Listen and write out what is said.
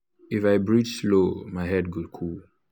if i breathe slow my head go cool.